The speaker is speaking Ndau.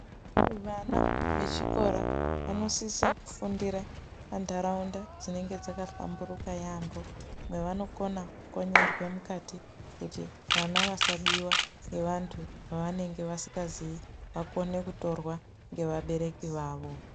Vama vechikora vanosise kufundira pantaraunda dzinenge dzakahlamburuka yamho mwavanokona kukonyerwe mukati kuti vana vasabiwa ngevantu vevanenge vasingazi vakone kutorwa ngevabereki vavo.